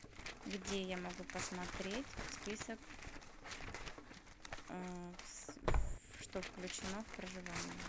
где я могу посмотреть список что включено в проживание